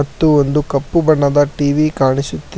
ಮತ್ತು ಒಂದು ಕಪ್ಪು ಬಣ್ಣದ ಟಿ_ವಿ ಕಾಣಿಸುತ್ತಿ--